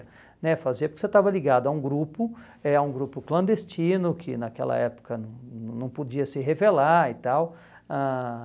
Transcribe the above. né Fazia porque você estava ligado a um grupo, é a um grupo clandestino, que naquela época não não não podia se revelar e tal. Ãh